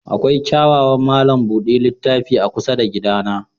Akwai kyawawan malam buɗe littafi a kusa da gidana.